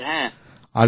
হ্যাঁ